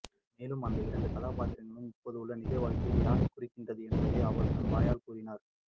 மேலும் அந்த இரண்டு கதாபாத்திரங்களும் இப்போதுள்ள நிஜ வாழ்க்கையில் யாரை குறிக்கின்றன என்பதையும் அவரே தன் வாயால் கூறினார்